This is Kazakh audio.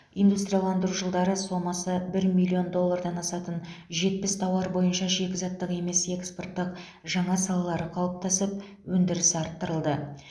индустрияландыру жылдары сомасы бір миллиаон доллардан асатын жетпіс тауар бойынша шикізаттық емес экспорттың жаңа салалары қалыптасып өндірісі арттырылды